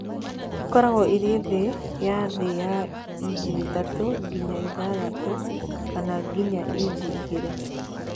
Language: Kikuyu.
Ĩkoragwo ĩrĩ thĩ ya thĩ ya inchi ithatũ nginya ithathatũ, kana nginya inchi igĩrĩ.